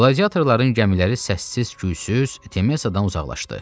Qladiatorların gəmiləri səssiz-küysüz Temesadan uzaqlaşdı.